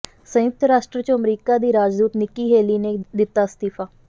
ਸੰਯੁਕਤ ਰਾਸ਼ਟਰ ਚੋਂ ਅਮਰੀਕਾ ਦੀ ਰਾਜਦੂਤ ਨਿੱਕੀ ਹੇਲੀ ਨੇ ਦਿੱਤਾ ਅਸਤੀਫਾ